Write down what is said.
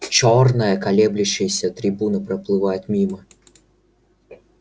чёрная колеблющаяся трибуна проплывает мимо